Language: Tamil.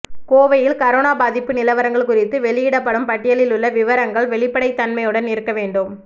கோவையில் கரோனா பாதிப்பு நிலவரங்கள் குறித்து வெளியிடப்படும் பட்டியலில் உள்ள விவரங்கள் வெளிப்படைத் தன்மையுடன் இருக்க வேண்டும்